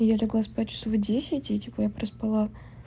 я легла спать в часов десять и типа я проспала